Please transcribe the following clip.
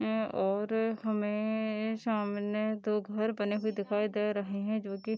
ए और हमे सामने दो घर बने हुए दिखाई दे रहे है जो कि --